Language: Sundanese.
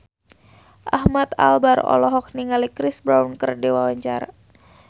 Ahmad Albar olohok ningali Chris Brown keur diwawancara